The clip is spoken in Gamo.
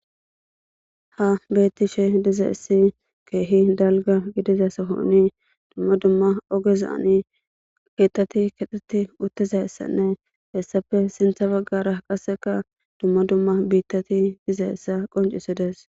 ha beettishe dizaessi keehi dalga gidizasahonni dumma dumma ogezaani keettati kexxeti uttizayssanne hessappe sintha baggara qasseka dumma dumma biittati dizayssa qoncisides